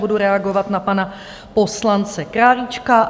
Budu reagovat na pana poslance Králíčka.